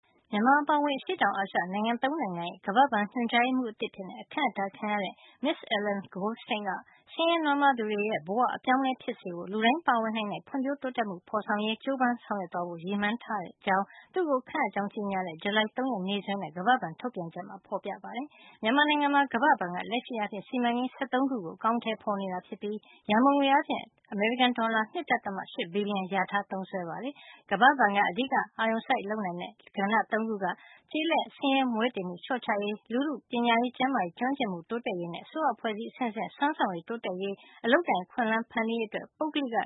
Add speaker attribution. Speaker 1: မြန်မာ အပါအဝင် အရှေ့တောင်အာရှ နိုင်ငံ သုံးနိုင်ငံရဲ့ ကမ္ဘာ့ဘဏ် ညွှန်ကြားရေးမှူးသစ် အဖြစ် ခန့်အပ်ခံရတဲ့ မစ္စ Ellen Goldstein က ဆင်းရဲနွမ်းပါးသူတွေရဲ့ဘဝတွေကို အပြောင်းအလဲ ဖြစ်စေဖို့အတွက် လူတိုင်း ပါဝင်နိုင်တဲ့ ဖွံ့ဖြိုးတိုးတက်မှုကို ဖော်ဆောင်နိုင်ရေး ကြိုးပမ်း ဆောင်ရွက်သွားဖို့ ရည်မှန်းထားတဲ့ အကြောင်း သူ့ကိုခန့်အပ်ကြောင်း ကြေညာတဲ့ ဇူလိုင်လ ၃ ရက် နေ့ စွဲနဲ့ ကမ္ဘာ့ဘဏ်ရဲ့ ထုတ်ပြန်ချက်ထဲမှာ ဖော်ပြထားပါတယ်။ မြန်မာနိုင်ငံမှာ ကမ္ဘာ့ဘဏ်က လက်ရှိအားဖြင့် စီမံကိန်း ၁၃ ခုကို အကောင်အထည်ဖော် လုပ်ဆောင်နေပြီး စုစုပေါင်း ရန်ပုံငွေ အားဖြင့် အမေရိကန်ဒေါ်လာ ၂.၈ ဘီလီယံ လျာထား သုံးစွဲနေပါတယ်။ ကမ္ဘာ့ဘဏ်က အဓိက အာရုံစိုက် လုပ်ဆောင်နေတဲ့ လုပ်ငန်းကဏ္ဍသုံးခုကတော့ ကျေးလက်ဒေသ ဆင်းရဲမွဲတေမှု လျှော့ချရေး၊ လူထုရဲ့ ပညာရေး၊ ကျန်းမာရေးနဲ့ ကျွမ်းကျင်မှု တိုးတက်လာရေးနဲ့ အစိုးရအဖွဲ့အစည်း အဆင့်ဆင့်ရဲ့စွမ်းဆောင်ရည် တိုးတက် လာရေး၊ အလုပ်အကိုင် အခွင့်အလမ်း ဖန်တီးရေးအတွက် ပုဂ္ဂလိက